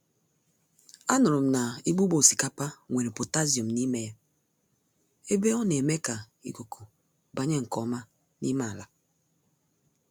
A nụrụm na igbugbo osikapa nwere potassium n'ime ya, ebe oneme ka ikuku banye nke ọma n'ime àlà.